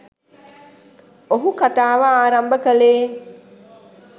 ඔහු කතාව ආරම්භ කළේ